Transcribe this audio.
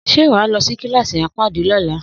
Sé wa lõsí kilassí apadi Lila?